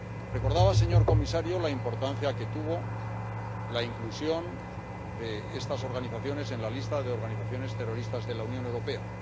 Recordaba el señor comisario la importancia que tuvo la inclusión de esas organizaciones en la lista de organizaciones terroristas de la Unión Europea.